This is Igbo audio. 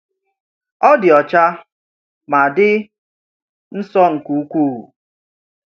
Ọ dị ọcha ma dị nsọ nke ukwuu.